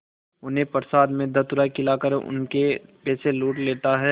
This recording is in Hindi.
उन्हें प्रसाद में धतूरा खिलाकर उनके पैसे लूट लेता है